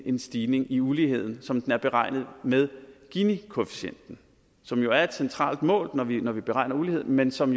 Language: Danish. en stigning i uligheden som den er beregnet med ginikoefficienten som jo er et centralt mål når vi når vi beregner uligheden men som